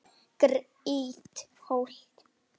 Grýtt holt.